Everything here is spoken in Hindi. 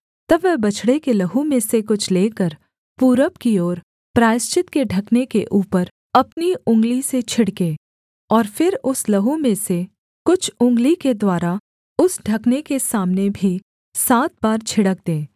तब वह बछड़े के लहू में से कुछ लेकर पूरब की ओर प्रायश्चित के ढकने के ऊपर अपनी उँगली से छिड़के और फिर उस लहू में से कुछ उँगली के द्वारा उस ढकने के सामने भी सात बार छिड़क दे